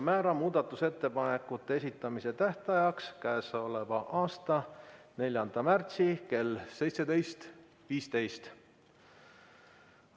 Määran muudatusettepanekute esitamise tähtajaks k.a 4. märtsi kell 17.15.